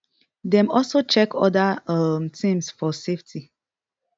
dem also check oda um tins for safety